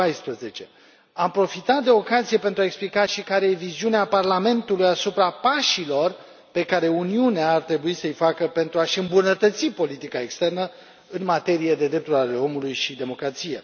2014. Am profitat de ocazie pentru a explica și care e viziunea Parlamentului asupra pașilor pe care Uniunea ar trebui să îi facă pentru a și îmbunătăți politica externă în materie de drepturi ale omului și democrație.